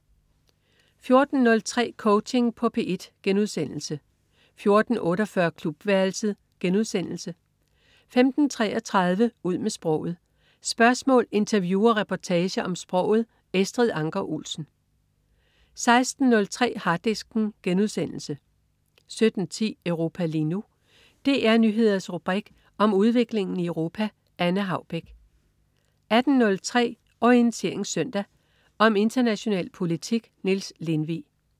14.03 Coaching på P1* 14.48 Klubværelset* 15.33 Ud med sproget. Spørgsmål, interview og reportager om sproget. Estrid Anker Olsen 16.03 Harddisken* 17.10 Europa lige nu. DR Nyheders rubrik om udviklingen i Europa. Anne Haubek 18.03 Orientering Søndag. Om international politik. Niels Lindvig